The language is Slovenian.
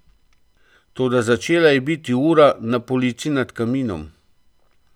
Toda začela je biti ura na polici nad kaminom.